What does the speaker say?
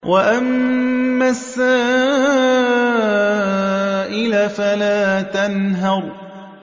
وَأَمَّا السَّائِلَ فَلَا تَنْهَرْ